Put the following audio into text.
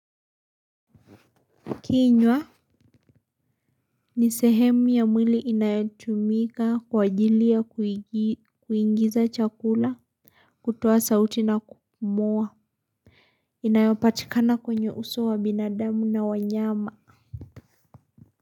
Kinywa ni sehemu ya mwili inayatumika kwa ajili ya kuingiza chakula. Kutoa sauti na kupumua inayopatikana kwenye uso wa binadamu na wanyama.